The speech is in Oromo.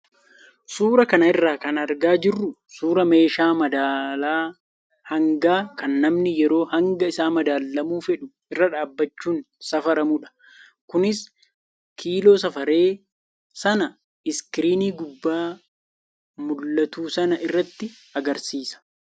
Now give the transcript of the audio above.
Suuraa kana irraa kan argaa jirru suuraa meeshaa madaala hangaa kan namni yeroo hanga isaa madaalamuu fedhu irra dhaabbachuun safaramudha. Kunis kiiloo safare sana iskiriinii gubbaa mul'atu sana irratti agarsiisa.